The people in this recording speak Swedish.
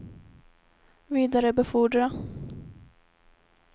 vidarebefordra